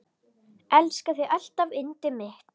Elska þig alltaf yndið mitt.